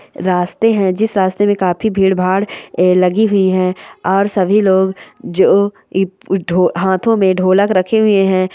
रास्ते हैं जिस रास्ते पर काफी भीड़-भाड़ लगी हुई है और सभी लोग जो ई हाथों में ढोलक रखे हुए हैं।